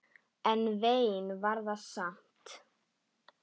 En vein var það samt.